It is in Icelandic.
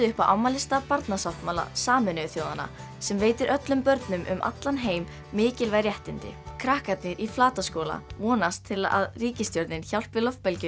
upp á afmælisdag Barnasáttmála Sameinuðu þjóðanna sem veitir öllum börnum um allan heim mikilvæg réttindi krakkarnir í Flataskóla vonast til að ríkisstjórnin hjálpi